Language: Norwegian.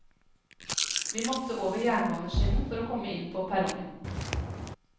Vi måtte over jernbanenskinnen for å komme inn på perrongen.